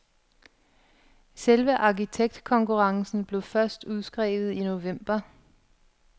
Selve arkitektkonkurrencen blev først udskrevet i november.